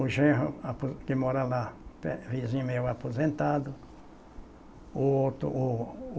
O Genro apo que mora lá, pe vizinho meu, aposentado. O outro o o